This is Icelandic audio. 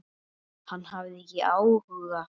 Hann hafði ekki áhuga.